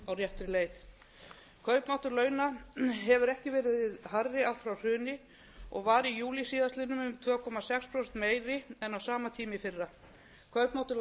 á réttri leið kaupmáttur launa hefur ekki verið hærri allt frá hruni og var í júlí síðastliðnum um tvö komma sex prósentum meiri en á sama tíma í fyrra kaupmáttur lægstu